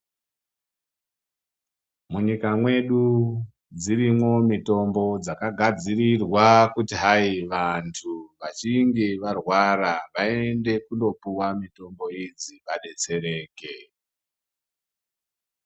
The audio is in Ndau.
Munyika mwedu dzirimwo mitombo dzakagadzirirwa kuti hai vanthu vachinge varwarwa vaende kundopuwa mitombo idzi vadetsereke.